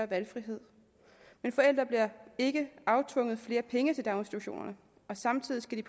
valgfrihed men forældre bliver ikke aftvunget flere penge til daginstitutionerne samtidig skal